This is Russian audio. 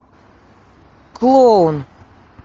клоун